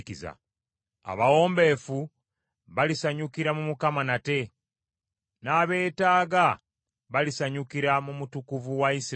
Abawombeefu balisanyukira mu Mukama nate, n’abeetaaga balisanyukira mu Mutukuvu wa Isirayiri.